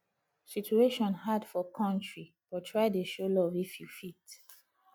situation hard for kontry but try dey show luv if yu fit